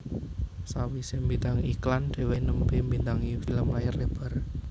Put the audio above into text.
Sawisé mbintangi iklan dheweké nembe mbintangi film layar lebar